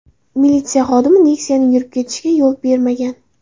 Militsiya xodimi Nexia’ning yurib ketishiga yo‘l bermagan.